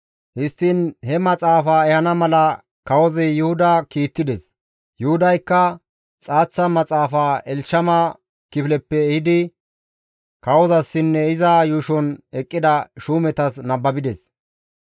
Histtiin he maxaafa ehana mala kawozi Yuhuda kiittides; Yuhudaykka xaaththa maxaafa Elshama kifileppe ehidi kawozasinne iza yuushon eqqida shuumetas nababides.